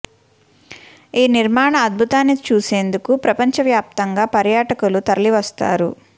ఈ నిర్మాణ అద్భుతాన్ని చూసేందుకు ప్రపంచ వ్యాప్తంగా పర్యట కులు తరలి వస్తారు